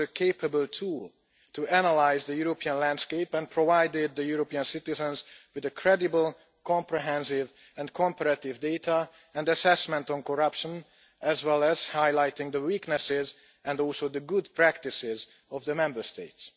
This was capable tool to analyse the European landscape and provided the European citizens with credible, comprehensive and comparative data and assessment on corruption, as well as highlighting the weaknesses and also the good practices of the Member States.